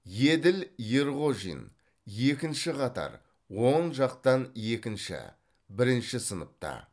еділ ерғожин екінші қатар оң жақтан екінші бірінші сыныпта